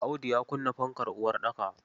Audu ya kunna fankar uwar ɗaka.